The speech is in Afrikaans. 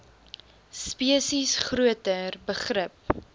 spesies groter begrip